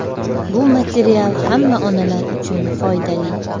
Bu material hamma onalar uchun foydali.